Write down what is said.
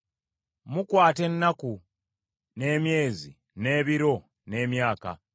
Mukwata ennaku, n’emyezi, n’ebiro, n’emyaka;